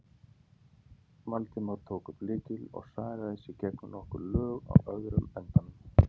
Valdimar tók upp lykil og sargaði sig gegnum nokkur lög á öðrum endanum.